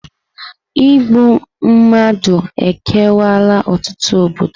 Igbu mmadụ ekewaala ọtụtụ obodo.